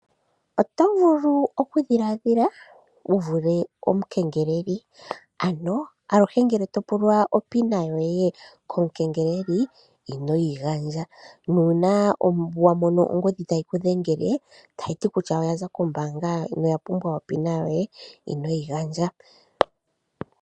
Otovulu okudhilaadhila wuvule omukengeleli, ano aluhe ngele topulwa opin yoye komukengeleli inoyi gandja nuuna wa mono ongodhi tayi ku dhengele tayi ti kutya oyaza kombaanga noya pumbwa opin yoye, inoyi gandja.